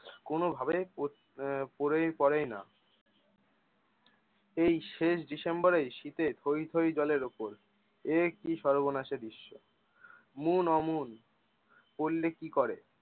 কোনোভাবে পরেই পরে না এই শেষ ডিসেম্বর এই শীতের থই থই জলের উপর এ কি সর্বনাশে দৃশ্য মোন অমন করলে কি করে!